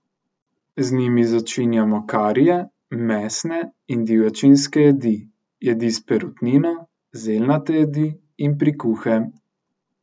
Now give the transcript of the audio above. Z njimi začinjamo karije, mesne in divjačinske jedi, jedi s perutnino, zeljnate jedi in prikuhe.